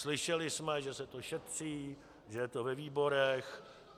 Slyšeli jsme, že se to šetří, že je to ve výborech.